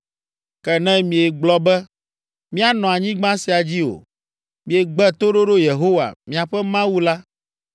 “Ke ne miegblɔ be, ‘míanɔ anyigba sia dzi o,’ miegbe toɖoɖo Yehowa, miaƒe Mawu la